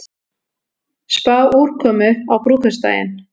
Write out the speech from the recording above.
Spá úrkomu á brúðkaupsdaginn